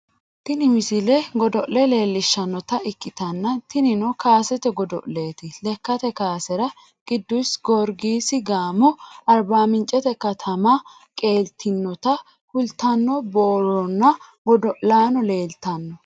tini misile godo'le leellishshannota ikkitanna tinino kaasete godo'leeti lekkate kaasera qiddusi gorgisi gaamo arba mincete katama qeeltinota kultanno borroonna godo'laano leeeltanno